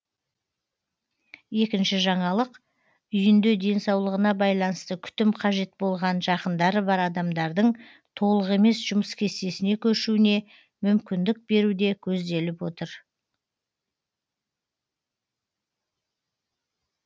екінші жаңалық үйінде денсаулығына байланысты күтім қажет болған жақындары бар адамдардың толық емес жұмыс кестесіне көшуіне мүмкіндік беру де көзделіп отыр